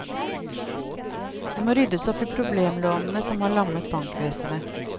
Det må ryddes opp i problemlånene som har lammet bankvesenet.